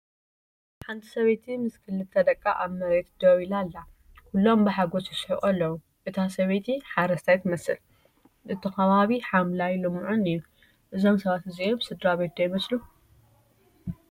ሓንቲ ሰበይቲ ምስ ክልተ ደቃ ኣብ መሬት ደው ኢላ ኣላ። ኩሎም ብሓጎስ ይስሕቁ ኣለዉ። እታ ሰበይቲ ሓረስታይ ትመስል። እቲ ከባቢ ሓምላይን ልሙዕን እዩ። እዞም ሰባት እዚኦም ስድራቤት ዶ ይመስሉ ?